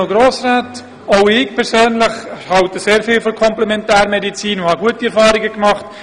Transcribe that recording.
Auch ich persönlich halte sehr viel von der Komplementärmedizin und habe wie Antonio Bauen gute Erfahrungen damit gemacht.